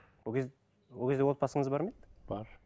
ол кезде отбасыңыз бар ма еді бар